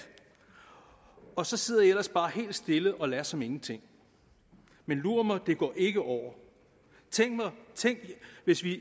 og så sidder i ellers bare helt stille og lader som ingenting men lur mig det går ikke over tænk hvis vi